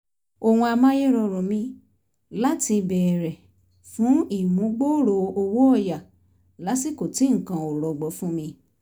ohun amáyérọrùn mi láti béèrè fún ìmúgbòòrò owó ọ̀yà lásìkò tí nǹkan ò rọgbọ fún mi